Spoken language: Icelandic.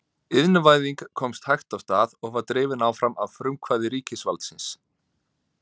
Iðnvæðing komst hægt af stað og var drifin áfram af frumkvæði ríkisvaldsins.